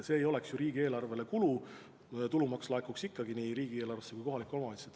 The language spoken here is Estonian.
See ei oleks ju riigieelarvele kulu, sest tulumaks laekuks ikkagi nii riigieelarvesse kui ka kohalikele omavalitsustele.